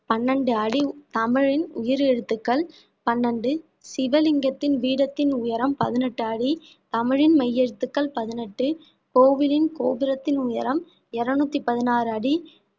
பன்னெண்டு அடி தமிழின் உயிரெழுத்துக்கள் பன்னெண்டு சிவலிங்கத்தின் பீடத்தின் உயரம் பதினெட்டு அடி தமிழின் மெய் எழுத்துக்கள் பதினெட்டு கோவிலின் கோபுரத்தின் உயரம் இருநூத்தி பதினாறு அடி